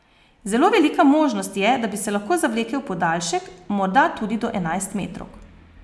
Zelo velika možnost je, da bi se lahko zavlekel v podaljšek, morda tudi do enajstmetrovk.